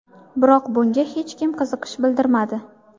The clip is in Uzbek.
Biroq bunga hech kim qiziqish bildirmadi.